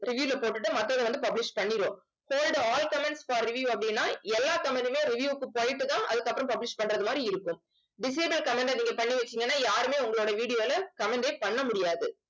review ல போட்டுட்டு மத்ததை வந்து publish பண்ணிரும் hod all comments for review அப்படின்னா எல்லா comment மே review க்கு போயிட்டுதான் அதுக்கப்புறம் publish பண்றது மாதிரி இருக்கும். disable comment அ நீங்க பண்ணி வச்சீங்கன்னா யாருமே உங்களோட video ல comment ஏ பண்ண முடியாது